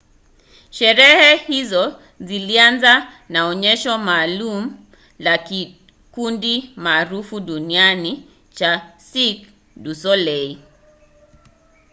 sherehe hizo zilianza na onyesho maalum la kikundi maarufu duniani cha cirque du soleil